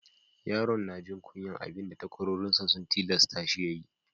Yaron ya na jin kunyan abin da takwarorin sa sun tillasa shi ya yi.